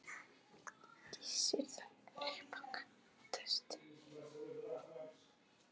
Gissur þagnaði, saup af könnunni og dæsti.